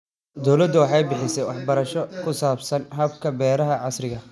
Dawladdu waxay bixisaa waxbarasho ku saabsan hababka beeraha casriga ah.